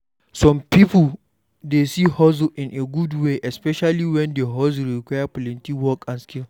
Some pipo dey see hustle in a good way especially when di hustle require plenty work and skill